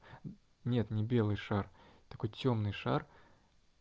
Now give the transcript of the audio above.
нет не белый шар такой тёмный шар